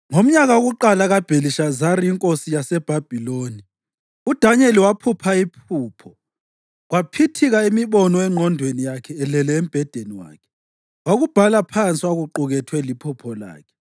Ngomnyaka wokuqala kaBhelishazari inkosi yaseBhabhiloni, uDanyeli waphupha iphupho, kwaphithika imibono engqondweni yakhe elele embhedeni wakhe. Wakubhala phansi okwakuqukethwe liphupho lakhe.